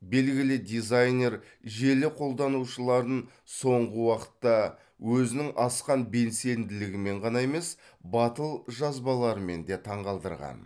белгілі дизайнер желі қолданушыларын соңғы уақытта өзінің асқан белсенділігімен ғана емес батыл жазбаларымен де таңғалдырған